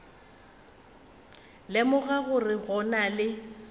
lemoga gore go na le